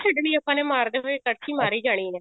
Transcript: ਛੱਡਨੀ ਮਾਰਦੇ ਹੋਏ ਮਾਰੀ ਜਾਣੀ ਆ